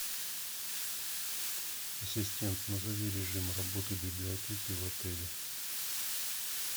ассистент назови режим работы библиотеки в отеле